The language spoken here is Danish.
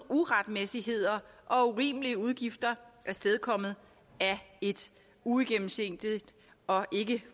uretmæssigheder og urimelige udgifter afstedkommet af et uigennemsigtigt og ikke